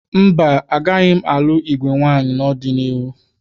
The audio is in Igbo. Mba, agaghị m alụ igwe nwaanyị n'ọdịniihu.